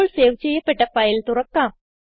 ഇപ്പോൾ സേവ് ചെയ്യപ്പെട്ട ഫയൽ തുറക്കാം